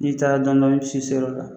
N'i taara dɔnni dɔnni i bi se i se yɔrɔ la.